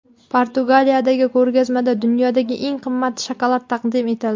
Portugaliyadagi ko‘rgazmada dunyodagi eng qimmat shokolad taqdim etildi.